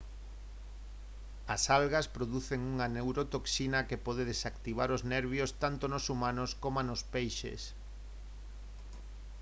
as algas producen unha neurotoxina que pode desactivar os nervios tanto nos humanos coma nos peixes